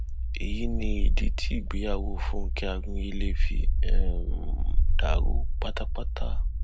èyí ni ìdí tí ìgbéyàwó fúnkẹ akíndélé fi um dàrú pátápátá